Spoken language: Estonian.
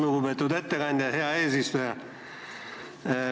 Lugupeetud ettekandja!